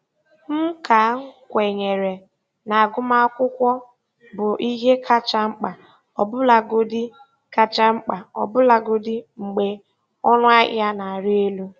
M ka kwenyere na agụmakwụkwọ bụ ihe kacha mkpa, ọbụlagodi kacha mkpa, ọbụlagodi mgbe ọnụ ahịa na-arị elu.